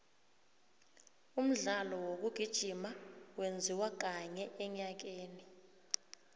umdlalo wokugijima wenziwa kanye enyakeni